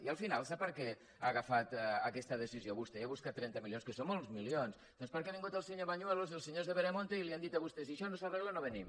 i al final sap per què ha agafat aquesta decisió vostè i ha buscat trenta milions que són molts milions doncs perquè han vingut el senyor bañuelos i els senyors de veremonte i li han dit a vostè si això no s’arregla no venim